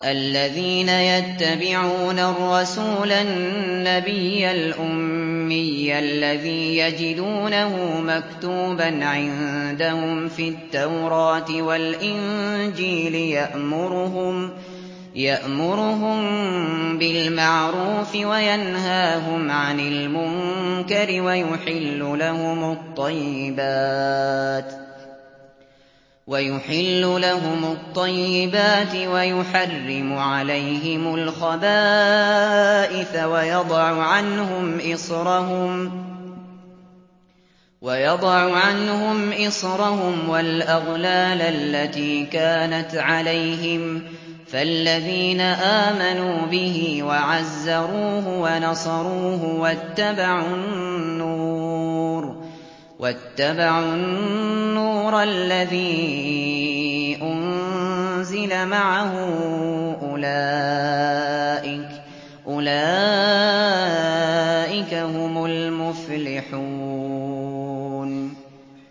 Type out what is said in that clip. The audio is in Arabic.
الَّذِينَ يَتَّبِعُونَ الرَّسُولَ النَّبِيَّ الْأُمِّيَّ الَّذِي يَجِدُونَهُ مَكْتُوبًا عِندَهُمْ فِي التَّوْرَاةِ وَالْإِنجِيلِ يَأْمُرُهُم بِالْمَعْرُوفِ وَيَنْهَاهُمْ عَنِ الْمُنكَرِ وَيُحِلُّ لَهُمُ الطَّيِّبَاتِ وَيُحَرِّمُ عَلَيْهِمُ الْخَبَائِثَ وَيَضَعُ عَنْهُمْ إِصْرَهُمْ وَالْأَغْلَالَ الَّتِي كَانَتْ عَلَيْهِمْ ۚ فَالَّذِينَ آمَنُوا بِهِ وَعَزَّرُوهُ وَنَصَرُوهُ وَاتَّبَعُوا النُّورَ الَّذِي أُنزِلَ مَعَهُ ۙ أُولَٰئِكَ هُمُ الْمُفْلِحُونَ